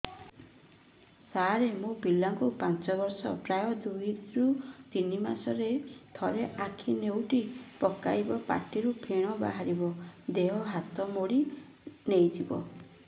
ସାର ମୋ ପିଲା କୁ ପାଞ୍ଚ ବର୍ଷ ପ୍ରାୟ ଦୁଇରୁ ତିନି ମାସ ରେ ଥରେ ଆଖି ନେଉଟି ପକାଇବ ପାଟିରୁ ଫେଣ ବାହାରିବ ଦେହ ହାତ ମୋଡି ନେଇଯିବ